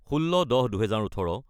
: 16-10-2018